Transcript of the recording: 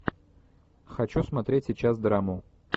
хочу смотреть сейчас драму